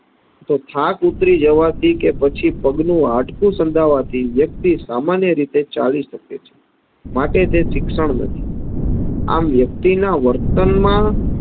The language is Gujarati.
તો થાક ઉતરી જવાથી કે પછી પગનું હાડકું સંધાવાથી વ્યક્તિ સામાન્ય રીતે ચાલી શકે છે, માટે તે શિક્ષણ નથી આમ વ્યક્તિના વર્તનમાં